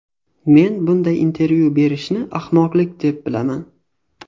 Men bunday intervyu berishni ahmoqlik deb bilaman.